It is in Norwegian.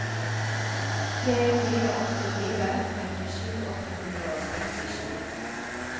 tre fire åtte fire femtisju åtte hundre og sekstisju